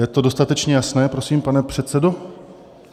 Je to dostatečně jasné, prosím, pane předsedo?